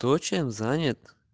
кто чем занят